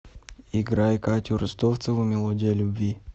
играй катю ростовцеву мелодия любви